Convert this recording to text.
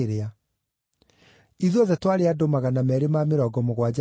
Ithuothe twarĩ andũ 276 arĩa twarĩ marikabu-inĩ.